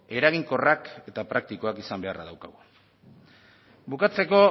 eraginkorrak eta praktikoak izan beharra daukagu bukatzeko